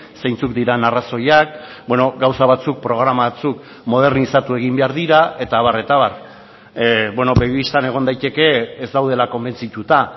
zeintzuk diren arrazoiak gauza batzuk programa batzuk modernizatu egin behar dira eta abar eta abar begi bistan egon daiteke ez daudela konbentzituta